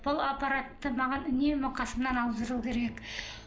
бұл аппаратты маған үнемі қасымнан алып жүру керек